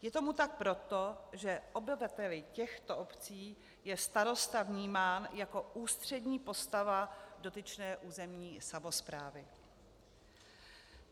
Je tomu tak proto, že obyvateli těchto obcí je starosta vnímán jako ústřední postava dotyčné územní samosprávy.